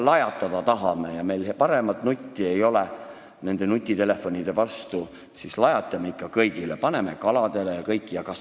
Kui me tahame lajatada ja meil ei ole rohkem nutti, kuidas saada nutitelefonidele vastu, siis lajatame ikka kõigile – ka kaladele ja kõikidele!